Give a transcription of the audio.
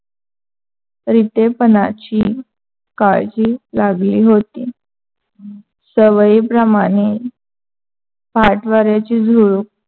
रितेपणाची काळजी लागली होती. सवयीप्रमाणे ची झुळूक